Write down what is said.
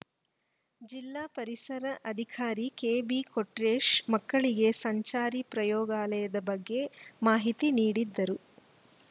ಜಿಲ್ಲಾ ಪರಿಸರ ಅಧಿಕಾರಿ ಕೆಬಿಕೊಟ್ರೇಶ್‌ ಮಕ್ಕಳಿಗೆ ಸಂಚಾರಿ ಪ್ರಯೋಗಾಲಯದ ಬಗ್ಗೆ ಮಾಹಿತಿ ನೀಡಿದರು